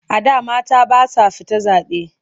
A da mata ba sa fita zaɓe.